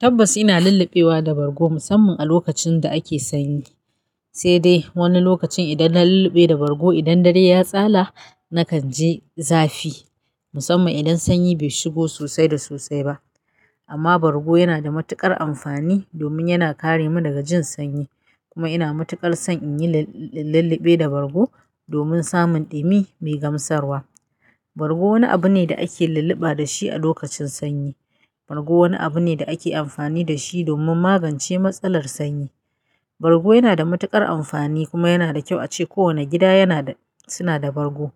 Tabbas ina lulluɓewa da bargo musamman a lokacin da ake sanyi, sai dai wani lokacin idan na lulluɓe da bargo idan dare ya tsalla nakan ji zafi musamman idan sanyi bai shigo sosai da sosai ba. Amma bargo yana da matuƙar amfani domin yana kare mu daga jin sanyi kuma ina mutuƙar son in yi, in lulluɓe da bargo domin samun ɗumi mai gamsarwa. Bargo wani abu ne da ake lulluɓa dashi a lokacin sanyi. Bargo wani abu ne da ake amfani dashi domin magance matsalar sanyi. Bargo yana da matuƙar amfani kuma yana da kyau ace kowanne gida yana da, suna da bargo.